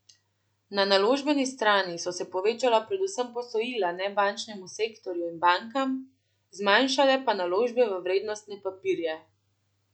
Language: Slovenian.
Na naložbeni strani so se povečala predvsem posojila nebančnemu sektorju in bankam, zmanjšale pa naložbe v vrednostne papirje.